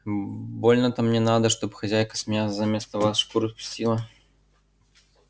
больно-то мне надо чтоб хозяйка с меня заместо вас шкуру спустила